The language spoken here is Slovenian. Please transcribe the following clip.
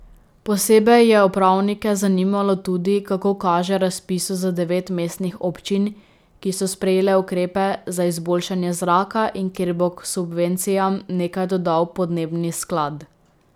Posebej je upravnike zanimalo tudi, kako kaže razpisu za devet mestnih občin, ki so sprejele ukrepe za izboljšanje zraka in kjer bo k subvencijam nekaj dodal podnebni sklad.